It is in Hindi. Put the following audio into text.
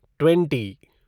ट्वेंटी